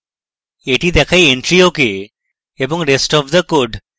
এটি দেখায় entry ok এবং rest of the code